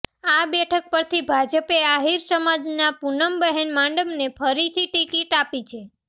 આ બેઠક પરથી ભાજપે આહીર સમાજનાં પૂનમબહેન માડમને ફરીથી ટિકિટ આપી છે